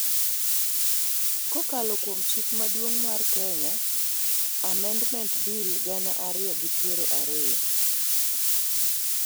kokalo kuom Chik Maduong' mar Kenya (Amendment) Bill, gana ariyi gi piero ariyo.